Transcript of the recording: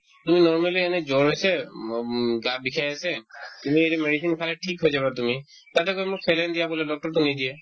তুমি normally এনে জ্বৰ হৈছে উম উম গা বিষাই আছে তুমি এতিয়া medicine খাই থিক হৈ যাবা তুমি তাতে গৈ মোক saline দিয়া ক'লে doctor য়েতো নিদিয়ে